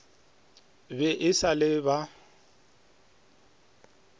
be e sa le ba